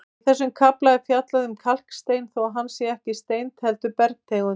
Í þessum kafla er fjallað um kalkstein þótt hann sé ekki steind heldur bergtegund.